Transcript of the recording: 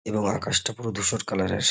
এবং আকাশটা পুরো ধূসর কালার -এর।